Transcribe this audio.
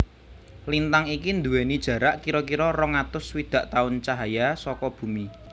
Lintang iki dhuweni jarak kira kira rong atus swidak tahun cahaya saka Bumi